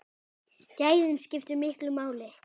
Gæðin skiptu miklu máli.